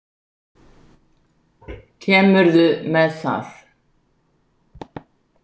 Kemurðu með það!